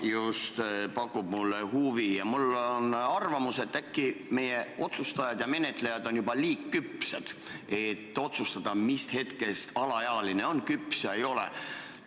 Mulle pakub huvi just see küpsuseteema ja mul on arvamus, et äkki meie otsustajad ja menetlejad on juba liiga küpsed, et otsustada, mis hetkest alaealine on küps või ei ole.